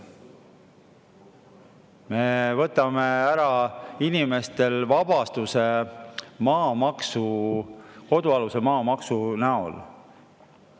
Me võtame inimestelt ära kodualuse maa maamaksuvabastuse.